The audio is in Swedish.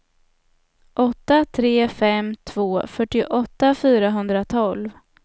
åtta tre fem två fyrtioåtta fyrahundratolv